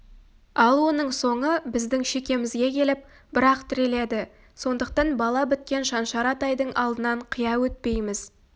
ал оның соңы біздің шекемізге келіп бір-ақ тіреледі сондықтан бала біткен шаншар атайдың алдынан қия өтпейміз